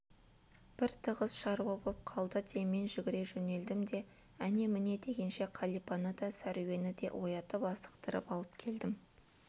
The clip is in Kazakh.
бір тығыз шаруа боп қалды де мен жүгіре жөнелдім де әне-міне дегенше қалипаны да сәруені де оятып асықтырып алып келдім